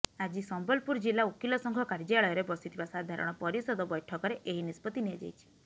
ଆଜି ସମ୍ବଲପୁରଜିଲ୍ଲା ଓକିଲସଂଘ କାର୍ଯ୍ୟାଳୟରେ ବସିଥିବା ସାଧାରଣ ପରିଷଦ ବୈଠକରେ ଏହି ନିଷ୍ପତ୍ତି ନିଆଯାଇଛି